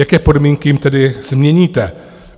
Jaké podmínky jim tedy změníte?